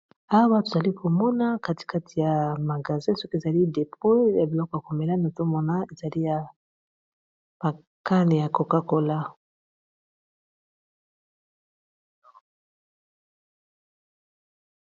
Hawa tuzali Komona kati kati ya magazi soki ezalii depoe ya biloko ya komelani otomona ezali ya pakani ya kokakola